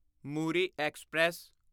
Muri express